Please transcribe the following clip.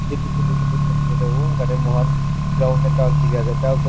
tate moihan ground ekta dekhe ase tiles tu